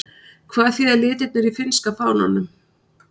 Hvað þýða litirnir í finnska fánanum?